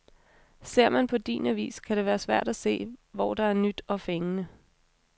Ser man på din avis, kan det være svært at se, hvor der er nyt og fængende.